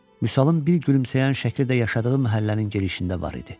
Vüsalın bir gülümsəyən şəkli də yaşadığı məhəllənin girişində var idi.